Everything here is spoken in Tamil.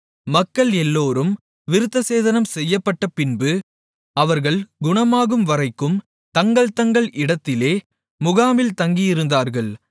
மக்கள் எல்லோரும் விருத்தசேதனம் செய்யப்பட்டபின்பு அவர்கள் குணமாகும்வரைக்கும் தங்கள்தங்கள் இடத்திலே முகாமில் தங்கியிருந்தார்கள்